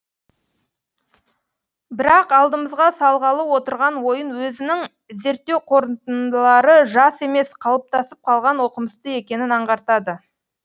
бірақ алдымызға салғалы отырған ойын өзінің зерттеу қорытындылары жас емес қалыптасып қалған оқымысты екенін аңғартады